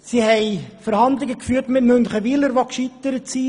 Sie hat Verhandlungen mit Münchenwiler geführt, die gescheitert sind.